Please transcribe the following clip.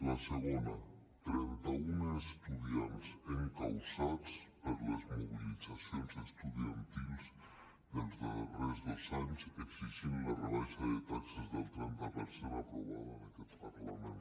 la segona trenta un estudiants encausats per les mobilitzacions estudiantils dels darrers dos anys per exigir la rebaixa de taxes del trenta per cent aprovada en aquest parlament